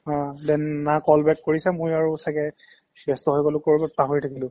অ, then না call back কৰিছা মই আৰু ছাগে ব্যস্ত হৈ গ'লো ক'ৰবাত পাহৰি থাকিলো